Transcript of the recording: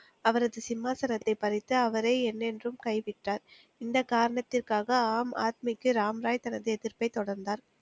அவரது சிம்மாசனத்தைப் பறித்து அவரே என்னென்றும் கைவிட்டார், இந்த காரணத்திற்காக ஆம் ஆத்மிக்கு ராம்ராய் தனது எதிர்ப்பை தொடர்ந்தார்